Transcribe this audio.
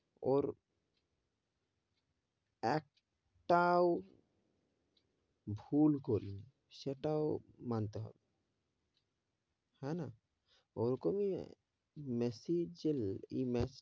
ওর এক, টাও, ভুল করে নি সেটাও মানতে হবে, হেনা, ওরকমই মেসি যে এই match,